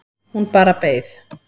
Hún bara beið